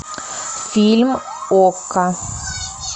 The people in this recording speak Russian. фильм окко